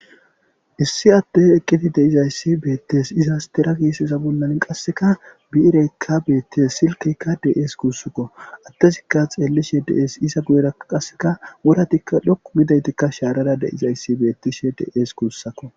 Issi attey eqqiti deizayssi beettes iza stera keesesa bollann qasseka bi'ireykka beettes silkeykka de'es kuussakko attezikka xeellishe dees iza guyera qasseka woratikka dhokku midaytikka shaarara deizayssi beettishe dees kuussakko